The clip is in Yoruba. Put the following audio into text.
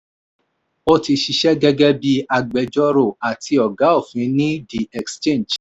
ó ti ṣiṣẹ́ gẹ́gẹ́ bí agbẹjọ́rò àti ọ̀gá òfin ní the exchange